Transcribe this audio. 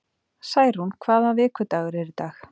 Særún, hvaða vikudagur er í dag?